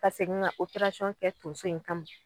Ka segin ka kɛ donso in kama.